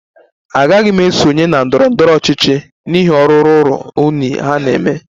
Agaghị m esonye na ndọrọ ndọrọ ọchịchị n'ihi ọrụ ruru unyi ha na-eme